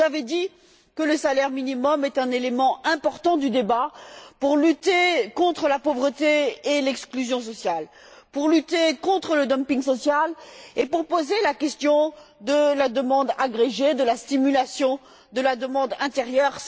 Vous avez dit que le salaire minimum est un élément important du débat pour lutter contre la pauvreté et l'exclusion sociale, pour lutter contre le dumping social et pour poser la question de la demande agrégée, de la stimulation de la demande intérieure.